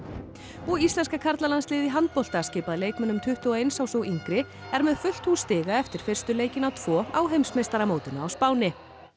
og íslenska karlalandsliðið í handbolta skipað leikmönnum tuttugu og eins árs og yngri er með fullt hús stiga eftir fyrstu leikina tvo á heimsmeistaramótinu á Spáni